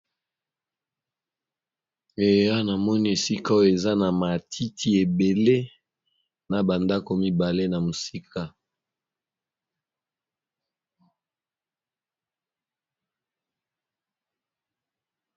ea na moni esika oyo eza na matiti ebele na bandako mibale na mosika